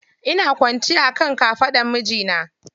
Ina kwanciya akan kafaɗan mijina.